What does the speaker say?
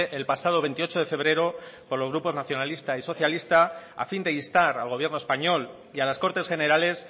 el pasado veintiocho de febrero por los grupos nacionalista y socialistas a fin de instar al gobierno español y a las cortes generales